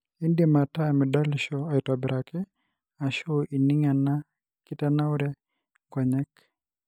indim ataa midolisho aitobiraki ashu ining ena kitanaure enkonyek.